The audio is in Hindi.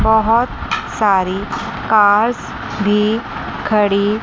बहोत सारी कार भी खड़ी--